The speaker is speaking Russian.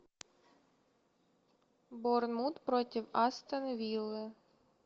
борнмут против астон виллы